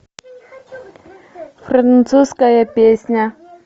французская песня